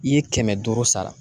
I ye kɛmɛ duuru sara.